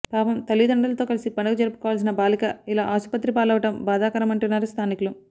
పాపం తల్లిదండ్రులతో కలిసి పండుగ జరుపుకోవాల్సిన బాలిక ఇలా ఆస్పత్రిపాలవ్వడం బాధాకరమంటున్నారు స్థానికులు